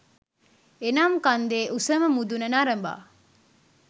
එනම් කන්දේ උසම මුදුන නරඹා